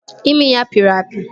Imi ya pịrị apị